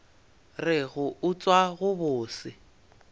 re go utswa go bose